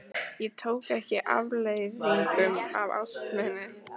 Ég tók ekki afleiðingum af ást minni.